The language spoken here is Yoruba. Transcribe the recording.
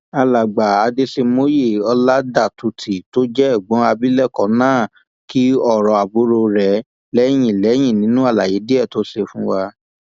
alàgbà adèṣemọye ọládàtútì tó jẹ ẹgbọn abilékọ náà kín ọrọ àbúrò rẹ lẹyìn lẹyìn nínú àlàyé díẹ tó ṣe fún wa